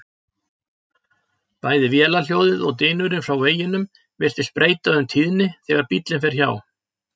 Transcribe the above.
Bæði vélarhljóðið og dynurinn frá veginum virðist breyta um tíðni þegar bíllinn fer hjá.